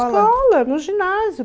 escola, no ginásio.